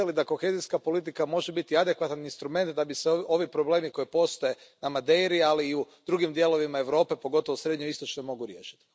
Mislite li da kohezijska politika može biti adekvatan instrument da bi se ovi problemi koji postoje na Madeiri, ali i u drugim dijelovima Europe, pogotovo srednjoistočnoj, mogli riješiti?